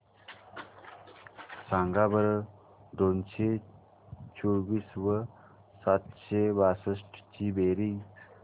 सांगा बरं दोनशे चोवीस व सातशे बासष्ट ची बेरीज